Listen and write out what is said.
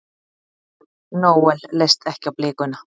Noel leist ekki á blikuna.